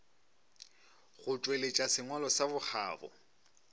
go tšweletša sengwalo sa bokgabo